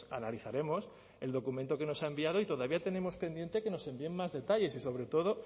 analizaremos el documento que nos ha enviado y todavía tenemos pendiente que nos envíen más detalles y sobre todo